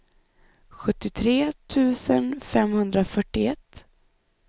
sjuttiotre tusen femhundrafyrtioett